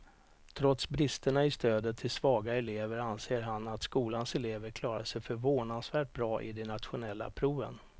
Trots bristerna i stödet till svaga elever anser han att skolans elever klarar sig förvånansvärt bra i de nationella proven.